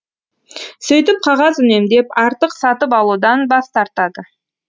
сөйтіп қағаз үнемдеп артық сатып алудан бас тартады